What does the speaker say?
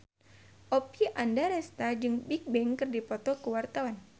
Oppie Andaresta jeung Bigbang keur dipoto ku wartawan